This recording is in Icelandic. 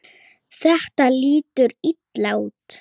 Þetta lítur illa út.